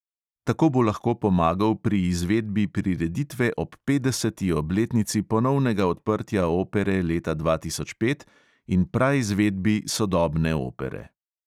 Tako bo lahko pomagal pri izvedbi prireditve ob petdeseti obletnici ponovnega odprtja opere leta dva tisoč pet in praizvedbi sodobne opere.